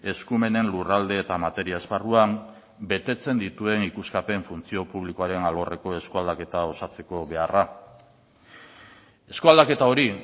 eskumenen lurralde eta materia esparruan betetzen dituen ikuskapen funtzio publikoaren alorreko eskualdaketa osatzeko beharra eskualdaketa hori